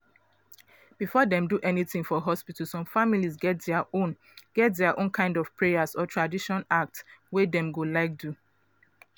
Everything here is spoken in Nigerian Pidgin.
before dem do anything for hospital some families get dia own get dia own kind of prayers or traditional acts wey dem go like do.